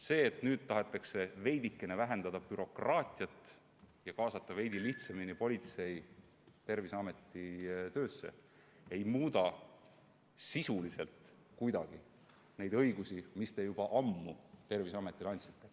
See, et nüüd tahetakse veidikene vähendada bürokraatiat ja kaasata veidi lihtsamini politseid Terviseameti töösse, ei muuda sisuliselt kuidagi neid õigusi, mis te juba ammu Terviseametile andnud olete.